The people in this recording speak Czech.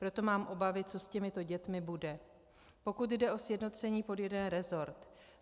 Proto mám obavy, co s těmito dětmi bude, pokud jde o sjednocení pod jeden resort.